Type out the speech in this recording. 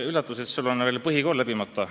Üllatav, et sul on põhikool veel läbimata.